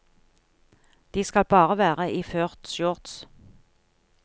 De skal bare være iført shorts.